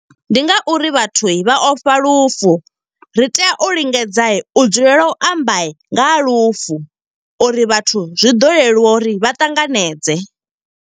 Ndi nga uri vhathu vha ofha lufu. Ri tea u lingedza, u dzulela u amba nga ha lufu, uri vhathu zwi ḓo leluwa uri vha ṱanganedze.